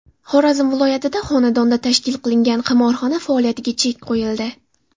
Xorazm viloyatida xonadonda tashkil qilingan qimorxona faoliyatiga chek qo‘yildi.